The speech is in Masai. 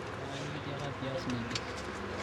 kang'ae nekitika piaas naija